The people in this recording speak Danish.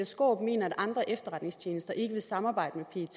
skaarup mener at andre efterretningstjenester ikke vil samarbejde med